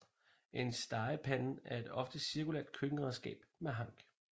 En stegepande er et ofte cirkulært køkkenredskab med hank